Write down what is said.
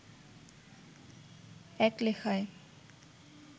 এক লেখায়